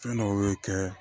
Fɛn dɔw bɛ kɛ